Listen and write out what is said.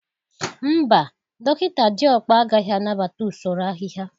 Mba, dọkịta Diokpa agaghị anabata usoro ahịhịa